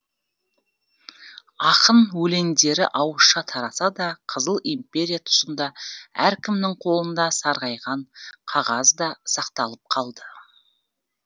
ақын өлеңдері ауызша тараса да қызыл империя тұсында әркімнің қолында сарғайған қағазда сақталып қалды